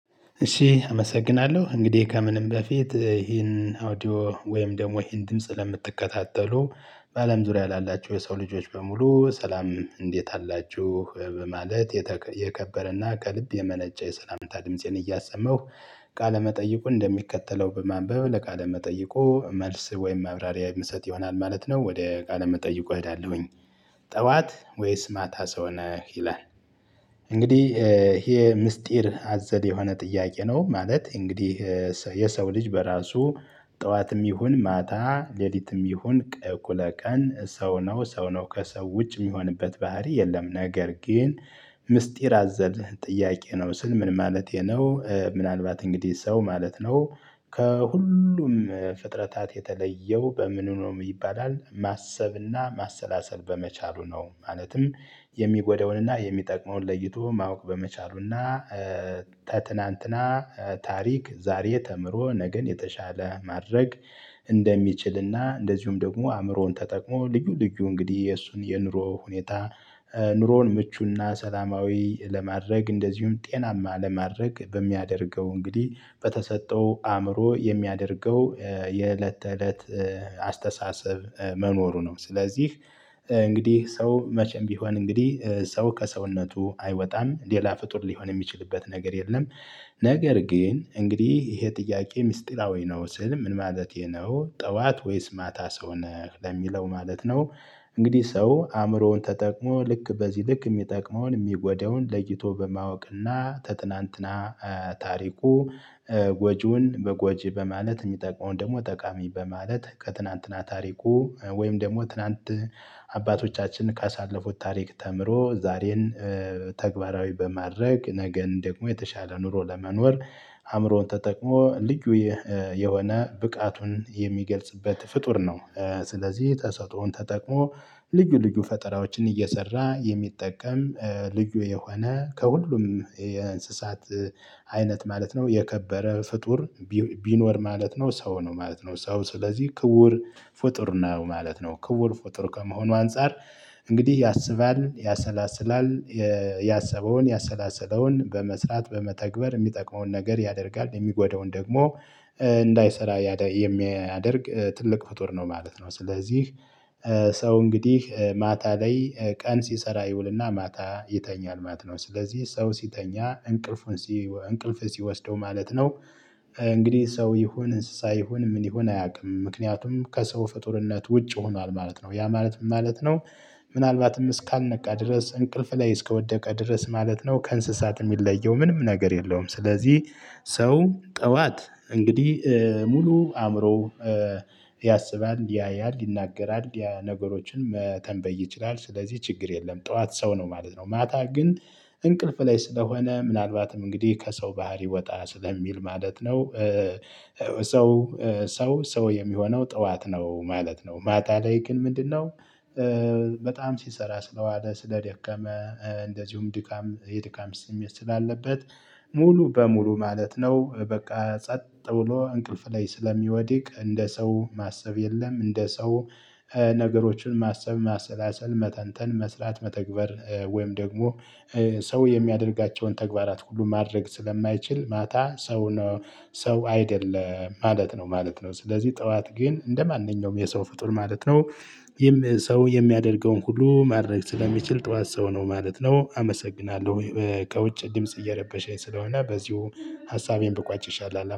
እሺ አመሰግናለሁ እንግዲህ ከምንም በፊት ይሄን አውዲዮ ወይም ደግሞ ይሄን ድምጽ ለምትከታተሉ በአለም ዙሪያ ላላችሁ የሰው ልጆች በሙሉ ሰላም እንዴት አላችሁ በማለት የከበረና ከልብ የመነጨ የሰላምታ ድምፄን እያሰማሁ ቃለመጠይቁ እንደሚከተለው በማንበብ ለቃለ መጠይቁ መልስ ወይም ማብራሪያ ምሰጥ ይሆናል ማለት ነው። ወደ ቃለ መጠይቁ እሄዳለሁኝ። ጠዋት ወይስ ማታ ሰው ነህ ይላል? እንግዲህ ይሄ ምስጢር አዘል የሆነ ጥያቄ ነው። ማለት እንግዲህ የሰው ልጅ በራሱ ጠዋትም ይሁን ማታ ሌሊትም ይሁን እኩለ ቀን ሰው ነው ሰው ነው ከሰው ውጭ ሚሆንበት ባህሪ የለም። ነገር ግን ምስጢር አዘል ጥያቄ ነው ስል ምን ማለቴ ነው? ምናልባት እንግዲህ ሰው ማለት ነው ከሁሉም ፍጥረታት የተለየው በምኑ ነው ይባላል ማሰብና ማሰላሰል በመቻሉ ነው። ማለትም የሚጎዳውን እና የሚጠቅመውን ለይቶ ማወቅ በመቻሉ እና። ከትናንትና ታሪክ ዛሬ ተምሮ ነገን የተሻለ ማድረግ። እንደሚችል እና እንደዚሁም ደግሞ አእምሮውን ተጠቅሞ ልዩ ልዩ እንግዲህ የእሱን የኑሮ ሁኔታ። ኑሮውን ምቹና ሰላማዊ ለማድረግ እንደዚሁም ጤናማ ለማድረግ በሚያደርገው እንግዲህ በተሰጠው አእምሮ የሚያደርገው የእለት ተእለት አስተሳሰብ መኖሩ ነው። ስለዚህ እንግዲህ ሰው መቼም ቢሆን እንግዲህ ሰው ከሰውነቱ አይወጣም ሌላ ፍጡር ሊሆን ሚችልበት ነገር የለም። ነገር ግን እንግዲህ ይሄ ጥያቄ ሚስጢራዊ ነው። ስል ምን ማለቴ ነው? ጠዋት ወይስ ማታ ሰው ነህ ለሚለው ማለት ነው። እንግዲህ ሰው አእምሮውን ተጠቅሞ ልክ በዚህ ልክ ሚጠቅመውን ሚጎዳውን ለይቶ በማወቅና ተትናንትና ታሪኩ ጎጂውን በጎጂ በማለት ሚጠቅመውን ደግሞ ጠቃሚ በማለት ከትናንትና ታሪኩ ወይም ደግሞ ትናንት አባቶቻችን ካሳለፉት ታሪክ ተምሮ ዛሬን ተግባራዊ በማድረግ ነገን ደግሞ የተሻለ ኑሮ ለመኖር አእምሮን ተጠቅሞ ልዩ የሆነ ብቃቱን የሚገልጽበት ፍጡር ነው። ስለዚህ ተሰጦውን ተጠቅሞ ልዩ ልዩ ፈጠራዎችን እየሰራ የሚጠቀም ልዩ የሆነ ከሁሉም የእንስሳት አይነት ማለት ነው። የከበረ ፍጡር ቢኖር ማለት ነው ሰው ነው ማለት ነው። ሰው ስለዚህ ክቡር ፍጡር ነው ማለት ነው ክቡር ፍጡር ከመሆኑ አንፃር እንግዲህ ያስባል ያሰላስላል ያሰበውን ያሰላሰለውን በመስራት በመተግበር ሚጠቅመውን ነገር ያደርጋል። የሚጎዳውን ደግሞ እንዳይሰራ የሚያደርግ ትልቅ ፍጡር ነው ማለት ነው። ስለዚህ ሰው እንግዲህ ማታ ላይ ቀን ሲሰራ ይውልና ማታ ይተኛል ማለት ነው። ስለዚህ ሰው ሲተኛ እንቅልፉን እንቅልፍ ሲወስደው ማለት ነው። እንግዲህ ሰው ይሁን እንስሳ ይሁን ምን ይሁን አያውቅም ምክንያቱም ከሰው ፍጡርነት ውጭ ሆኗል ማለት ነው። ያ ማለት ምን ማለት ነው? ምናልባትም እስካልነቃ ድረስ እንቅልፍ ላይ እስከ ወደቀ ድረስ ማለት ነው ከእንስሳት ሚለየው ምንም ነገር የለውም። ስለዚህ ሰው ጠዋት እንግዲህ ሙሉ አእምሮ ያስባል ያያል ይናገራል ነገሮችን መተንበይ ይችላል። ስለዚህ ችግር የለም ጠዋት ሰው ነው ማለት ነው። ማታ ግን እንቅልፍ ላይ ስለሆነ ምናልባትም እንግዲህ ከሰው ባህሪ ወጣ ስለሚል ማለት ነው። ሰው ሰው የሚሆነው ጠዋት ነው ማለት ነው። ማታ ላይ ግን ምንድን ነው? በጣም ሲሰራ ስለዋለ ስለደከመ እንደዚሁም ድካም የድካም ስሜት ስላለበት ሙሉ በሙሉ ማለት ነው በቃ ጸጥ ብሎ እንቅልፍ ላይ ስለሚወድቅ እንደ ሰው ማሰብ የለም እንደ ሰው ነገሮችን ማሰብ ማሰላሰል መተንተን መስራት መተግበር ወይም ደግሞ ሰው የሚያደርጋቸውን ተግባራት ሁሉ ማድረግ ስለማይችል ማታ ሰው ነው። ሰው አይደለም ማለት ነው ማለት ነው። ስለዚህ ጠዋት ግን እንደማንኛውም የሰው ፍጡር ማለት ነው ሰው የሚያደርገውን ሁሉ ማድረግ ስለሚችል ጠዋት ሰው ነው ማለት ነው። አመሰግናለሁ ከውጭ ድምጽ እየረበሸኝ ስለሆነ በዚሁ ሀሳቤን ብቋጭ ይሻላል